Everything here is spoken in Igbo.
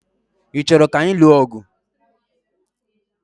Ị chọrọ ka anyị lụọ ọgụ?